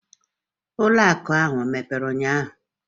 Ụlọ akụ ahụ emepere ụnyaahụ?